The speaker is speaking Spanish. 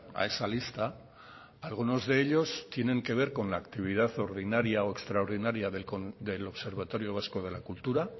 a esa lista algunos de ellos tiene que ver con la actividad ordinaria o extraordinaria del observatorio vasco de la cultura